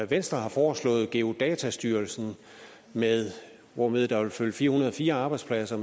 venstre har foreslået at geodatastyrelsen hvormed der vil følge fire hundrede og fire arbejdspladser